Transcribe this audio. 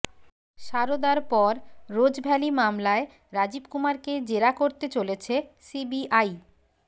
সারদার পর রোজভ্যালি মামলায় রাজীব কুমারকে জেরা করতে চলেছে সিবিআই